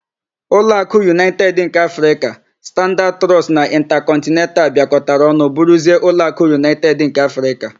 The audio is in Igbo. Ụlọakụ Unaịted nke Afrịka, Standaad Trọọst na Ịntakọntnental bịakotara ọnụ bụrụzie Ụlọakụ Unaịted nke Afrịka.